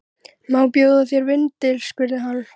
Má bjóða þér vindil? spurði hann.